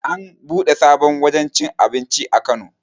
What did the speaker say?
An buɗe sabon wajen cin abinci a kano